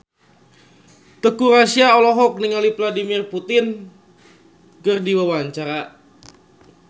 Teuku Rassya olohok ningali Vladimir Putin keur diwawancara